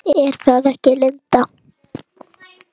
Er það ekki Linda?